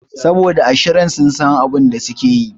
Saboda a shirin sun san abinda sukeyi